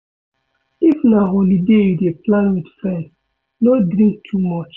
If na holiday you dey plan with friends, no drink too much